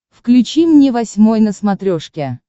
включи мне восьмой на смотрешке